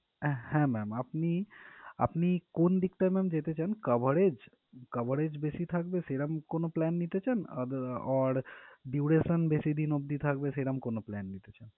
হ্যাঁ ma'am আপনি আপনি কোন দিকটায় ma'am যেতে চান coverage coverage বেশি থাকবে সেইরাম কোনো plan নিতে চান other or duration বেশিদিন অব্দি থাকবে সেইরাম কোনো plan নিতে চান?